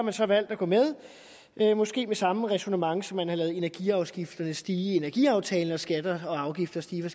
har så valgt at gå med måske med samme ræsonnement som man har ladet energiafgifterne stige med i energiaftalen og skatter og afgifter stige med